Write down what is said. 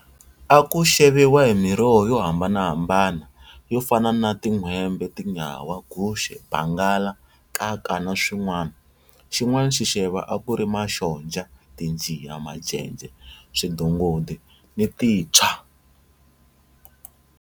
A ku xeviwa hi miroho yo hambanahambana yo fana na tinhwembe, tinyawa, guxe, bangala, nkaka na swin'wana. Xin'wana xixevo a ku ri maxonja, tinjiya, majeje, swidongodi ni tintshwa.